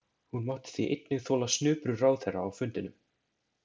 Hún mátti því einnig þola snuprur ráðherra á fundinum.